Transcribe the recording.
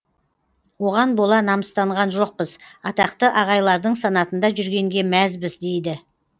оған бола намыстанған жоқпыз атақты ағайлардың санатында жүргенге мәзбіз дейді